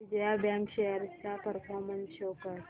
Vijaya bank shares चा performance show कर